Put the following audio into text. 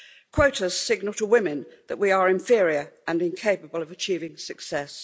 Quotas signal to women that we are inferior and incapable of achieving success.